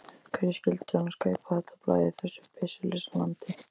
Hverjir skyldu annars kaupa þetta blað í þessu byssulausa landi?